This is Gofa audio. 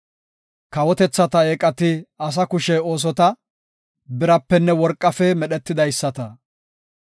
Kawotethata eeqati asa kushe oosota; birapenne worqafe medhetidaysata.